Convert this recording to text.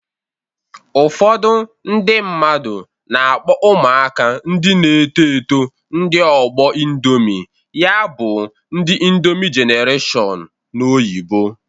Ụfọdụ ndị mmadu na-akpọ ụmụaka ndị na-eto eto ndị ọgbọ Indomị. Ya bụ, ndi Indomị jenareshọn n'oyibo